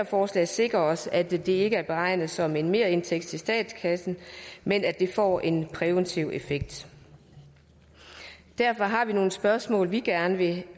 forslag sikre os at det ikke er beregnet som en merindtægt til statskassen men at det får en præventiv effekt og derfor har vi nogle spørgsmål vi gerne vil